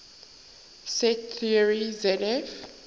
set theory zf